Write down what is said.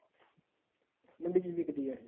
ਮੰਡੀ ਚ ਵਿਕਦੀ ਆ ਇਹ